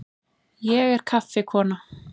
Ég er kaffikona.